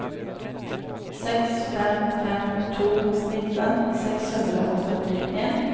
seks fem fem to nitten seks hundre og førtien